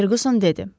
Ferguson dedi.